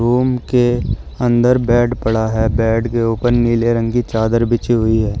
Room अंदर bed पड़ा है बेड के ऊपर नीले रंग की चादर बिछी हुई है।